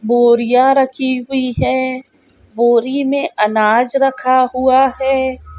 बोरियां रखी हुई हैं। बोरि में अनाज रखा हुआ है।